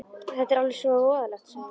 Þetta er alveg svo voðalegt, sagði hún.